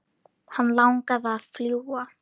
Hann langaði að fljúga.